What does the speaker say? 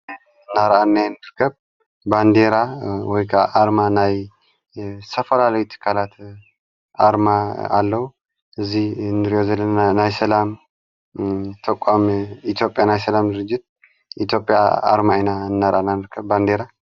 እናርኣናዮ ንርከብ ባንዴራ ወይከዓ ኣርማ ናይ ዝተፈላለይ ቲካላተ ኣርማ ኣለዉ እዙይ እንርእዮ ዘለና ናይ ሰላም ተቋም ኢቲዮጴያ ናይ ሰላም ድርጅት ኢቲዮጵያ ኣርማ ኢና እናርኣና ንርከብ ባንዴራ።